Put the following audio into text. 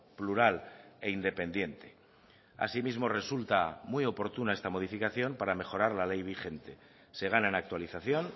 plural e independiente asimismo resulta muy oportuna esta modificación para mejorar la ley vigente se gana en actualización